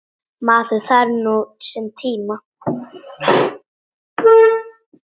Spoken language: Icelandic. Maður þarf nú sinn tíma.